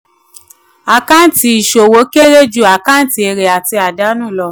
àkáǹtì ìṣòwò kéré ju àkáǹtì èrè àti àdánù lọ.